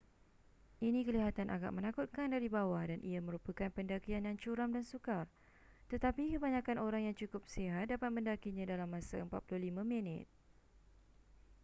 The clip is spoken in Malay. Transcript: ini kelihatan agak menakutkan dari bawah dan ia merupakan pendakian yang curam dan sukar tetapi kebanyakan orang yang cukup sihat dapat mendakinya dalam masa 45 minit